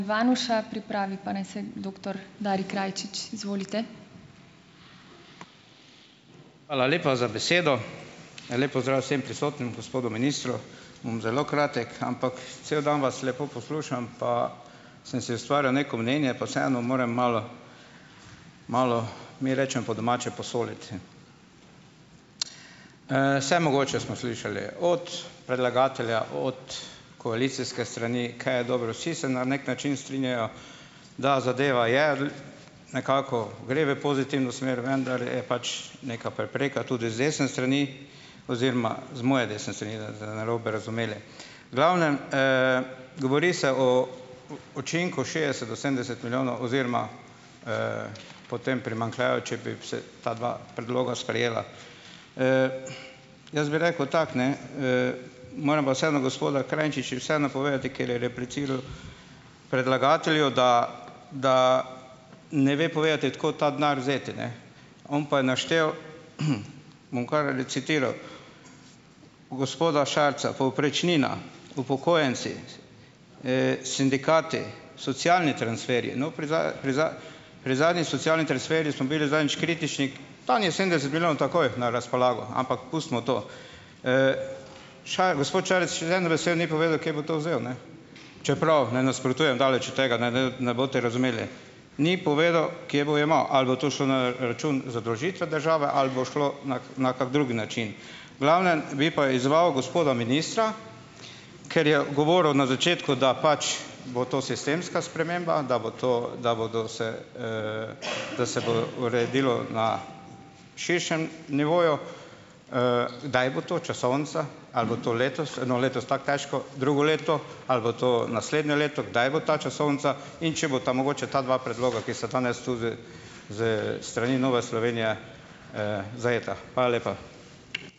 Hvala lepa za besedo. En lep pozdrav vsem prisotnim, gospodu ministru. Bom zelo kratek, ampak cel dan vas lepo poslušam pa sem si ustvarjal neko mnenje pa vseeno moram malo - malo mi rečemo po domače "posoliti". Vse mogoče smo slišali. Od predlagatelja, od koalicijske strani, kaj je dobro, vsi se na neki način strinjajo, da zadeva je - nekako gre v pozitivno smer, vendar je pač neka prepreka tudi z desne strani oziroma z moje desne strani, da narobe razumeli. V glavnem, govori se o učinku šestdeset do sedemdeset milijonov oziroma, potem primanjkljaju, če bi se ta dva predloga sprejela. Jaz bi rekel tako, ne, - moram pa vseeno gospoda, Krajčiču vseeno povedati, ker je repliciral predlagatelju, da da ne ve povedati, od kod ta denar vzeti, ne. On pa je naštel, bom kar recitiral: gospoda Šarca, povprečnina, upokojenci, sindikati, socialni transferji - no, pri pri pri zadnji socialni transferji smo bili zadnjič kritični - tam je sedemdeset milijonov takoj na razpolago. Ampak pustimo to. gospod Šarec še z eno besedo ni povedal, kje bo to vzel, ne. Čeprav ne nasprotujem, daleč od tega - ne ne boste razumeli. Ni povedal, kje bo jemal. Ali bo to šlo na račun zadolžitve države ali bo šlo na na kak drug način. V glavnem, bi pa izzval gospoda ministra, ker je govoril na začetku, da pač bo to sistemska sprememba, da bo to da bodo se - da se bo uredilo na širšem nivoju - kdaj bo to, časovnica? Ali bo to letos? No, letos tako težko. Drugo leto? Ali bo to naslednje leto? Kdaj bo ta časovnica in če bosta mogoče ta dva predloga, ki sta danes tu s s strani Nove Slovenije, zajeta? Hvala lepa.